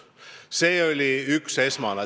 See oli üks esmaseid eesmärke.